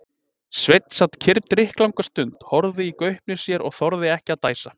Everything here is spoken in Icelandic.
Sveinn sat kyrr drykklanga stund, horfði í gaupnir sér og þorði ekki að dæsa.